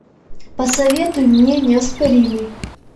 посоветуй мне неоспоримый